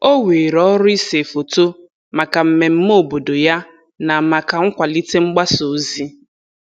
O weere ọrụ ise foto maka mmemme obodo ya na maka nkwalite mgbasa ozi.